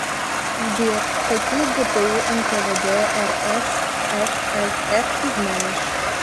сбер какие гпу нквд рсфср ты знаешь